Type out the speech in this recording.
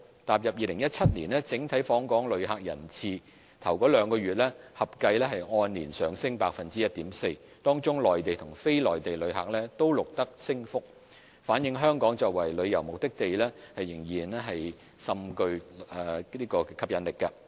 踏入2017年，整體訪港旅客人次首兩月合計按年上升 1.4%， 當中內地和非內地旅客均錄得升幅，反映香港作為旅遊目的地仍甚具吸引力。